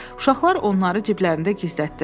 Uşaqlar onları ciblərdə gizlətdilər.